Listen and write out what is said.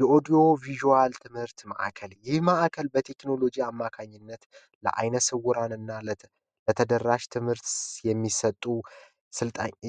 የኦዲዮ ቪዥዋል ትምህርት ማእከል ላለአይነ ስውራን እና ለተደራሽ ትምህርት የሚሰጡ